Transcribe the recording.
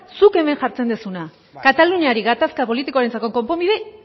zuk hemen jartzen duzuna kataluniari gatazka politikoarentzako konponbide